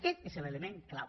aquest és l’element clau